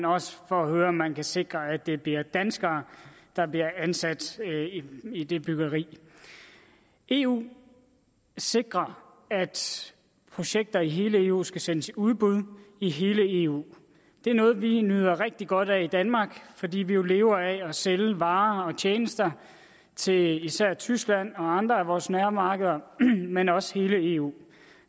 også for at høre om man kan sikre at det bliver danskere der bliver ansat i det byggeri eu sikrer at projekter i hele eu skal sendes i udbud i hele eu det er noget vi nyder rigtig godt af i danmark fordi vi jo lever at sælge varer og tjenester til især tyskland og andre af vores nærmarkeder men også hele eu